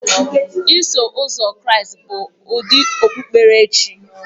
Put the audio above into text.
Iso Ụzọ Kraịst bụ ụdị okpukpere chi